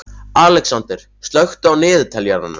Alexander, slökktu á niðurteljaranum.